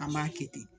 An b'a kɛ ten